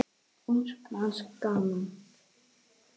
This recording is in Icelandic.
Ungs manns gaman.